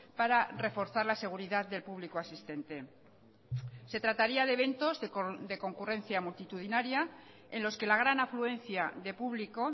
para reforzar la seguridad del público asistente se trataría de eventos de concurrencia multitudinaria en los que la gran afluencia de público